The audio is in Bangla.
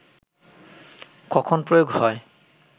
কখন প্রয়োগ হয়